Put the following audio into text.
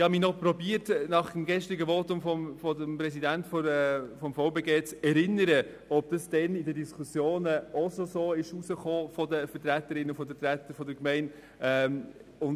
Nach dem gestrigen Votum des Präsidenten des Verbands Bernischer Gemeinden (VBG) versuchte ich mich zu erinnern, ob dies in den damaligen Diskussionen seitens der Vertreterinnen und Vertreter der Gemeinden ebenso geäussert wurde.